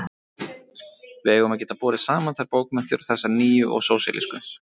Við eigum að geta borið saman þær bókmenntir og þessar nýju og sósíalísku.